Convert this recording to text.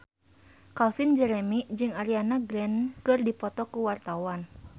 Calvin Jeremy jeung Ariana Grande keur dipoto ku wartawan